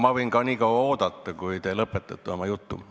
Ma võin ka nii kaua oodata, kui te oma jutu lõpetate.